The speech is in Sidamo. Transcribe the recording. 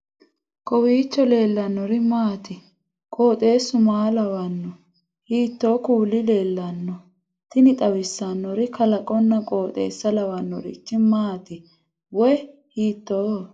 kowiicho leellannori maati ? qooxeessu maa lawaanno ? hiitoo kuuli leellanno ? tini xawissannori kalaqonna qooxeessa lawannorichi maati wayi hiitooho